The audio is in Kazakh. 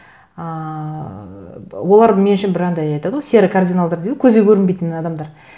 ыыы олар мен үшін бір андай айтады ғой серый кардиналдар дейді ғой көзге көрінбейтін адамдар